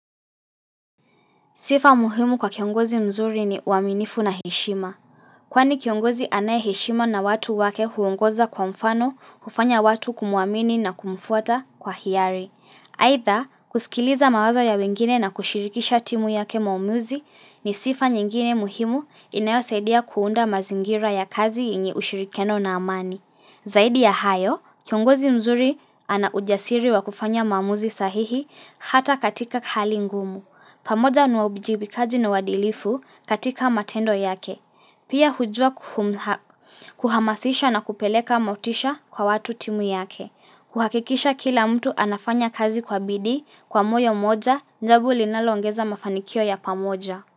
Sifa muhimu kwa kiongozi mzuri ni uaminifu na heshima. Kwani kiongozi anaye heshima na watu wake huongoza kwa mfano kufanya watu kumuamini na kumfuata kwa hiari. Aitha kusikiliza mawazo ya wengine na kushirikisha timu yake maamuzi ni sifa nyingine muhimu inayosaidia kuunda mazingira ya kazi yenye ushirikiano na amani. Zaidi ya hayo, kiongozi mzuri ana ujasiri wa kufanya mamuzi sahihi hata katika hali ngumu. Pamoja nuwabijibikaji na wadilifu katika matendo yake. Pia hujua kuhamasisha na kupeleka motisha kwa watu timu yake. Kuhakikisha kila mtu anafanya kazi kwa bidii kwa moyo moja jambo linalongeza mafanikio ya pamoja.